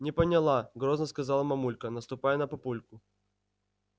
не поняла грозно сказала мамулька наступая на папульку